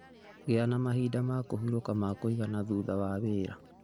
Gĩa na mahinda ma kũhurũka ma kũigana thutha wa wĩra.